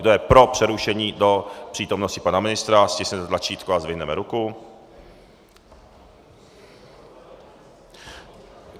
Kdo je pro přerušení do přítomnosti pana ministra, stiskněte tlačítko a zvedněte ruku.